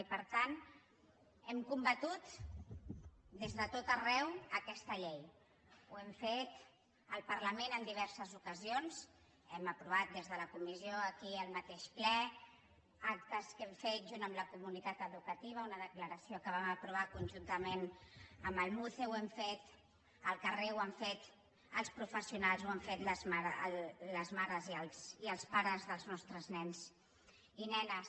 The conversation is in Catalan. i per tant hem combatut des de tot arreu aquesta llei ho hem fet al parlament en diverses ocasions hem aprovat des de la comissió aquí al mateix ple actes que hem fet junt amb la comunitat educativa una declaració que vam aprovar conjuntament amb el muce ho hem fet al carrer ho han fet els professionals ho han fet les mares i els pares dels nostres nens i nenes